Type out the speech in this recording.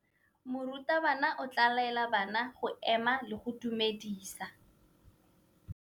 Morutabana o tla laela bana go ema le go go dumedisa.